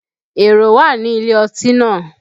Èrò wà ní ilé ọtí náà